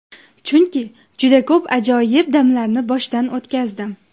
Chunki juda ko‘p ajoyib damlarni boshdan o‘tkazdim.